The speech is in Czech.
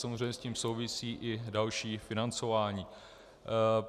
Samozřejmě s tím souvisí i další financování.